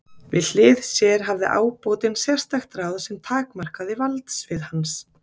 Við hlið sér hafði ábótinn sérstakt ráð sem takmarkaði valdsvið hans.